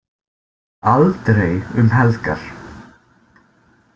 Aldrei um helgar.